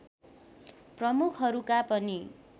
प्रमुखहरूका पनि